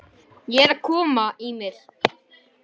Ég er að koma